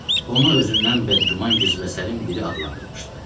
Onu özündən bədgüman qizbəsərin biri adlandırmışdı.